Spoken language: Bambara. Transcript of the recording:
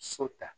So ta